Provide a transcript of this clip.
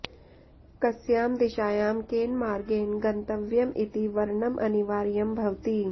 कस्यां दिशायां केन मार्गेण गन्तव्यम् इति वरणम् अनिवार्यं भवति